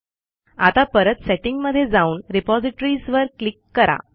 आता परत सेटिंग मधे जाऊन रिपॉझिटरीज वर क्लिक करा